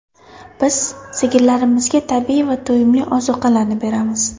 Biz sigirlarimizga tabiiy va to‘yimli ozuqalarni beramiz.